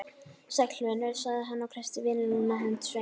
Sæll vinur, sagði hann og kreisti vinnulúna hönd Sveins.